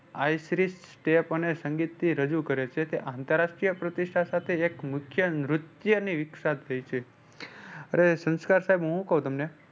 Tap અને સંગીત થી રજૂ કરે છે. તે આંતરરાષ્ટ્રીય પ્રતિષ્ઠા સાથે એક મુખ્ય નૃત્ય ની થઈ છે. અરે સંસ્કાર સાહેબ હું શું કવ તમને